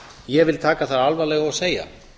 ég vil taka það alvarlega og segja